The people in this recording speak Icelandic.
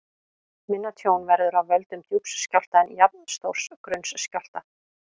Minna tjón verður af völdum djúps skjálfta en jafnstórs grunns skjálfta.